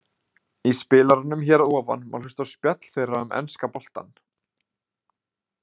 Í spilaranum hér að ofan má hlusta á spjall þeirra um enska boltann.